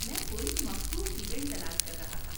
میں کوئی مخصوص ایونٹ تلاش کر رہا تھا۔